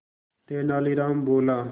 तेनालीराम बोला